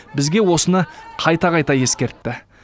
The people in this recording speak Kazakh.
бізге осыны қайта қайта ескертті